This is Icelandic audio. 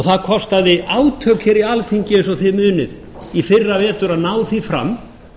það kostaði átök hér í alþingi eins og þið munið í fyrravetur að ná því fram